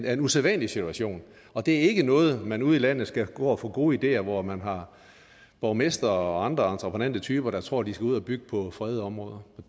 er en usædvanlig situation og det er ikke noget man ude i landet skal gå og få gode ideer hvor man har borgmestre og andre entreprenante typer der tror at de skal ud og bygge på fredede områder